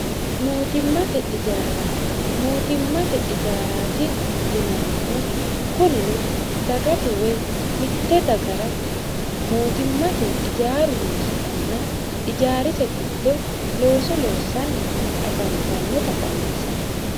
mootimmate ijaaraati yinannihu kunino dagate woy mitte dagara mootimmate ijaaru noositanna ijaarise gitto looso loossanni afantannota dhawinsanni